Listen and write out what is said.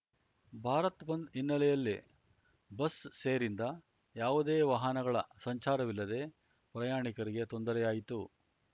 ಭಾರತ್‌ ಬಂದ್‌ ಹಿನ್ನೆಲೆಯಲ್ಲಿ ಬಸ್‌ ಸೇರಿಂದ ಯಾವುದೇ ವಾಹನಗಳ ಸಂಚಾರವಿಲ್ಲದೆ ಪ್ರಯಾಣಿಕರಿಗೆ ತೊಂದರೆಯಾಯಿತು